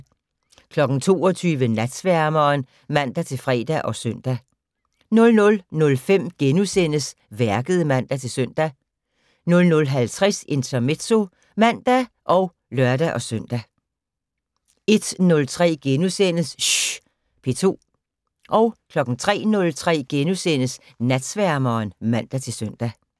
22:00: Natsværmeren (man-fre og søn) 00:05: Værket *(man-søn) 00:50: Intermezzo (man og lør-søn) 01:03: Schh P2 * 03:03: Natsværmeren *(man-søn)